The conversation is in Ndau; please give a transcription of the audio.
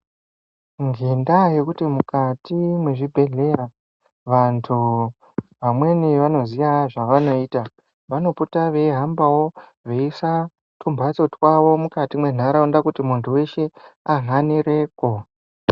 Ngendaa yekuti mukati mwezvibhehleya vantu amweni vanoziya zvevanoita vanopote veihambawo veise tumhatso twavo mukati mwenharaunda kuti munhu weshe ahanirepo.